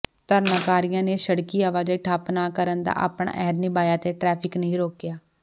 ਧਰਨਾਕਾਰੀਆਂ ਨੇ ਸੜਕੀ ਆਵਾਜਾਈ ਠੱਪ ਨਾ ਕਰਨ ਦਾ ਆਪਣਾ ਅਹਿਦ ਨਿਭਾਇਆ ਅਤੇ ਟਰੈਫਕ ਨਹੀਂ ਰੋਕਿਆ